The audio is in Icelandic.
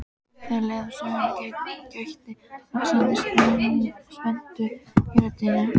Þegar leið á söguna gætti vaxandi spennu í röddinni.